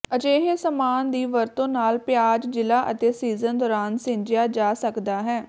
ਅਜਿਹੇ ਸਾਮਾਨ ਦੀ ਵਰਤੋ ਨਾਲ ਪਿਆਜ਼ ਜ਼ਿਲ੍ਹਾ ਅਤੇ ਸੀਜ਼ਨ ਦੌਰਾਨ ਸਿੰਜਿਆ ਜਾ ਸਕਦਾ ਹੈ